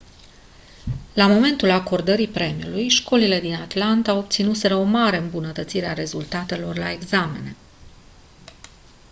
la momentul acordării premiului școlile din atlanta obținuseră o mare îmbunătățire a rezultatelor la examene